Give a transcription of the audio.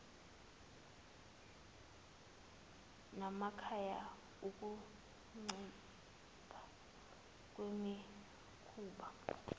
namakhaya ukuncipha kwemikhuba